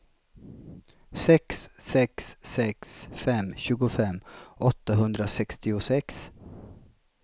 sex sex sex fem tjugofem åttahundrasextiosex